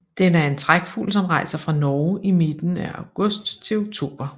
Den er en trækfugl som rejser fra Norge i midten af august til oktober